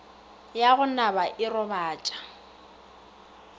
ya go naba e robatša